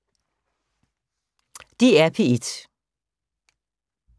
DR P1